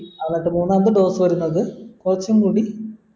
എന്നിട്ട് മൂന്നാമത്തെ dose വരുന്നത് കൊറച്ചും കൂടി